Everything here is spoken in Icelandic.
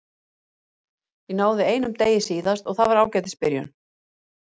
Ég náði einum degi síðast og það var ágætis byrjun.